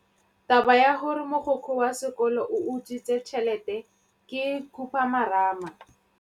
Taba ya gore mogokgo wa sekolo o utswitse tšhelete ke khupamarama.